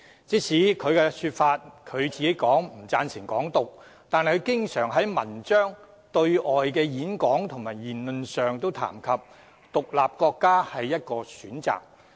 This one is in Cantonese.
雖然他說自己並不贊成"港獨"，但卻經常撰文和在對外演講及言論中提及"獨立國家"是一個選擇。